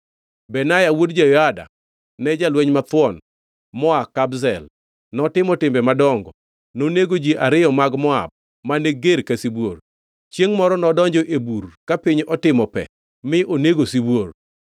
Benaya wuod Jehoyada ne jalweny mathuon moa Kabzel, notimo timbe madongo. Nonego ji ariyo mag Moab mane ger ka sibuor. Chiengʼ moro nodonjo e bur ka piny otimo pe mi onego sibuor.